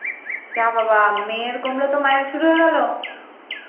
যা বাবা মেয়ের কমলো তো মায়ের শুরু হয়ে গেল?